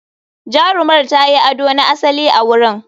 Jarumar ta yi ado na asali a wurin.